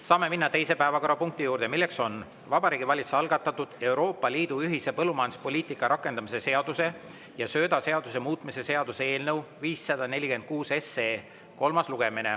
Saame minna teise päevakorrapunkti juurde, milleks on Vabariigi Valitsuse algatatud Euroopa Liidu ühise põllumajanduspoliitika rakendamise seaduse ja söödaseaduse muutmise seaduse eelnõu 546 kolmas lugemine.